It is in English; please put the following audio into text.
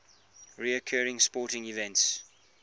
recurring sporting events